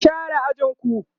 ku share ajinku!